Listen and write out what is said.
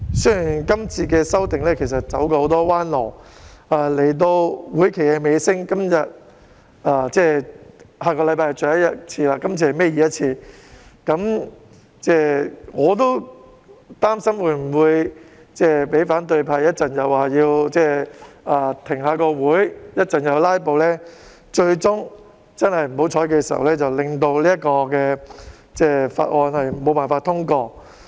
雖然今次的修訂走了很多彎路，但到了會期的尾聲，下星期已是立法會最後一次會議，今天是立法會倒數第二次會議，我也擔心反對派稍後又要求停會或"拉布"，最終不幸令《條例草案》無法通過。